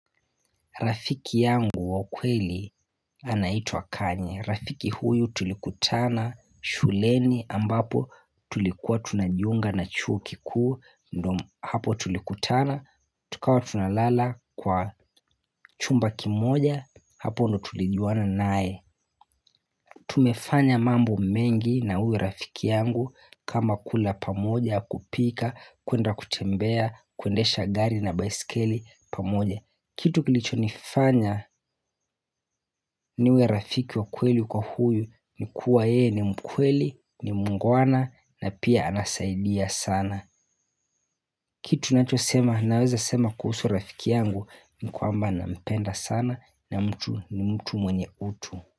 Rafiki yangu wa ukweli anaitwa kanya. Rafiki huyu tulikutana shuleni ambapo tulikuwa tunajiunga na chuo kikuu, hapo tulikutana, tukawa tunalala kwa chumba kimoja, hapo ndo tulijuana nae. Tumefanya mambo mengi na huyo rafiki yangu kama kula pamoja kupika, kuenda kutembea, kuendesha gari na baiskeli pamoja Kitu kilicho nifanya niwe rafiki wa kweli kwa huyu ni kuwa ye ni mkweli, ni muungwana na pia anasaidia sana Kitu ninachosema naweza sema kuhusu rafiki yangu ni kwamba nampenda sana na ni mtu na mtu mwenye utu.